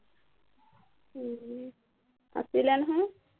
উহ আছিলে নহয়